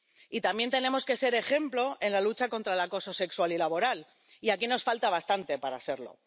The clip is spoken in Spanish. Y también tenemos que ser ejemplo en la lucha contra el acoso sexual y laboral, y aquí nos falta bastante para serlo.